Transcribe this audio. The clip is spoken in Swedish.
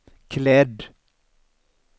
klädd